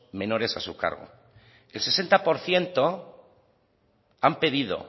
menores a su cargo el sesenta por ciento han pedido